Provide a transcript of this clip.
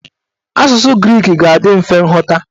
Asụsụ grik ga-adị mfe nghọta.